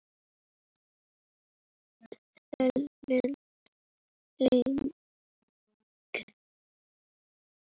Helena Lind.